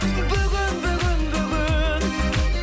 бүгін бүгін бүгін